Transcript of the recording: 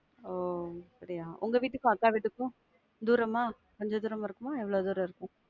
ஒ அப்படியா? உங்க வீட்டுக்கும் அக்கா வீட்டுக்கும் தூரமா? கொஞ்ச தூரம இருக்குமா? எவ்வளவு தூரம் இருக்கும்?